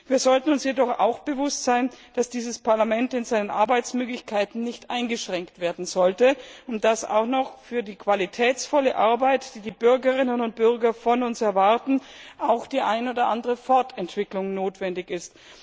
Wir sollten uns jedoch auch bewusst sein, dass dieses Parlament in seinen Arbeitsmöglichkeiten nicht eingeschränkt werden sollte und dass für die qualitätsvolle Arbeit, die die Bürgerinnen und Bürger von uns erwarten, auch noch die eine oder andere Fortentwicklung notwendig ist.